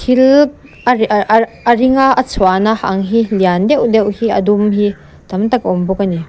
thil a a ring a a chhuahna ang hi lian deuh deuh hi a dum hi tam tak a awm bawk a ni.